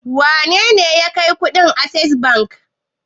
Wane ne ya kai kuɗin Access Bank?